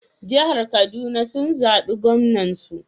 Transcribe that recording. Jihar Kaduna sun zabi Gwamnan su.